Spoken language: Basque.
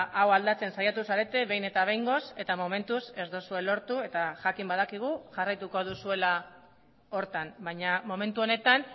hau aldatzen saiatu zarete behin eta behingoz eta momentuz ez duzue lortu eta jakin badakigu jarraituko duzuela horretan baina momentu honetan